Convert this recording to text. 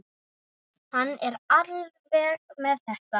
Hann er alveg með þetta.